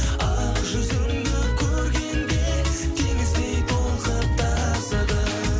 ақ жүзіңді көргенде теңіздей толқып тасыдым